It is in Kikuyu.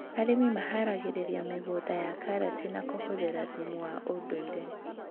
Arĩmi maharagĩrĩria mĩgũnda ya karati na kũhũthĩra thumu wa ũndũire